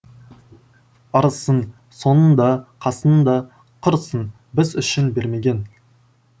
ырысын соның да қасың да құрысын біз үшін бермеген